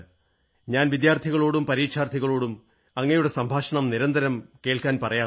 ഞാൻ വിദ്യാർഥികളോടും പരീക്ഷാർഥികളോടും അങ്ങയുടെ സംഭാഷണം നിരന്തരം കേൾക്കാറുണ്ട്